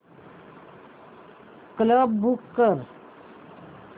cab book कर